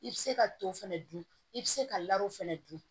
I bɛ se ka to fɛnɛ dun i bɛ se ka fɛnɛ dun